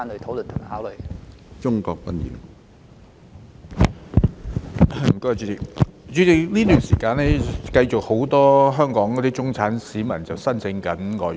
主席，在這一段時間，仍有很多香港中產市民申請外傭。